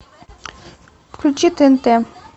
включи тнт